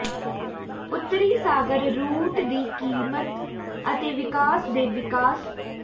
ਉੱਤਰੀ ਸਾਗਰ ਰੂਟ ਦੀ ਕੀਮਤ ਅਤੇ ਵਿਕਾਸ ਦੇ ਵਿਕਾਸ